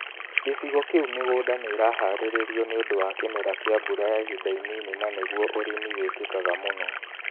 Gĩcigo kĩu mĩgunda nĩ ĩraharĩrio nĩũndũ wa kĩmera kĩa mbura ya ihinda inini na nĩguo ũrĩmi wĩkĩkaga mũno